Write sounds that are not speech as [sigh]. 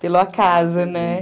Pelo acaso, né? [laughs]